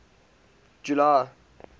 july